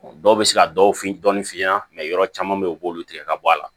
Dɔw bɛ se ka dɔw fin dɔɔnin f'i ɲɛna yɔrɔ caman bɛ yen u b'olu tigɛ ka bɔ a la